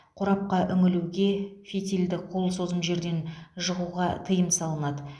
қорапқа үңілуге фитильді қол созым жерден жағуға тыйым салынады